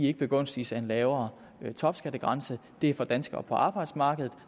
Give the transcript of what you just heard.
ikke begunstiges af en lavere topskattegrænse det er for danskere på arbejdsmarkedet